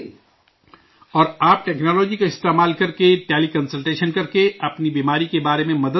اور آپ ٹیکنالوجی کا استعمال کرکے ٹیلی کنسلٹیشن کر کر کے اپنی بیماری کے سلسلے میں مدد لیتے ہیں